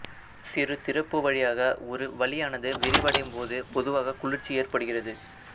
சிறு திறப்பு வழியாக ஒரு வளியானது விரிவடையும் போது பொதுவாக குளிர்ச்சி ஏற்படுகிறது